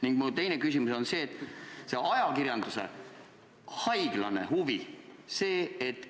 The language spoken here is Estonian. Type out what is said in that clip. Ning mu teine küsimus on ajakirjanduse haiglase huvi kohta.